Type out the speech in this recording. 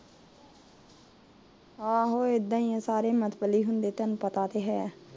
ਆਹੋ ਇਦਾਂ ਈ ਏ ਸਾਰੇ ਮਤਬਲੀ ਹੁੰਦੇ ਤੈਨੂੰ ਪਤਾ ਤੇ ਹੈ